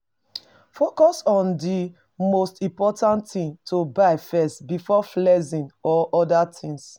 Focus on di most important things to buy first before flexing or oda things